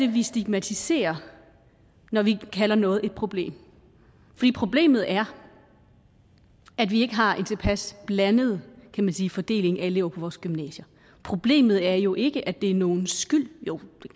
vi stigmatiserer når vi kalder noget et problem problemet er at vi ikke har en tilpas blandet kan man sige fordeling af elever på vores gymnasier problemet er jo ikke at det er nogens skyld jo